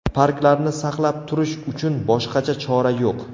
Parklarni saqlab turish uchun boshqacha chora yo‘q.